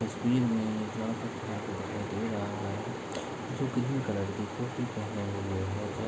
इस फील्ड में एक लड़का खड़ा दे रहा है जो कलर की टोपी पहेने हुए है।